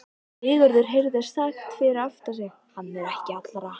Sigurður heyrði sagt fyrir aftan sig:-Hann er ekki allra.